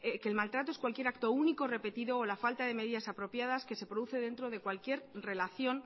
que el maltrato es cualquier acto único repetido o la falta de medidas apropiadas que se produce dentro de cualquier relación